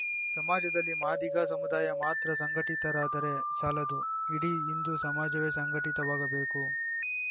ಸಮಾಜದಲ್ಲಿ ಮಾದಿಗ ಸಮುದಾಯ ಮಾತ್ರ ಸಂಘಟಿತರಾದರೆ ಸಾಲದು ಇಡೀ ಹಿಂದೂ ಸಮಾಜವೇ ಸಂಘಟಿತವಾಗಬೇಕು